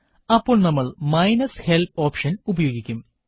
അപ്പോൾ നമ്മൾ minus help option ഉപയോഗിക്കും